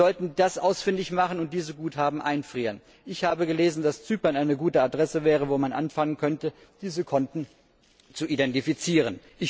Wir sollten das ausfindig machen, und diese Guthaben einfrieren. Ich habe gelesen, dass Zypern eine gute Adresse wäre, wo man anfangen könnte, diese Konten zu identifizieren.